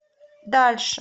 дальше